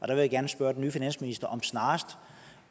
jeg gerne spørge den nye finansminister om snarest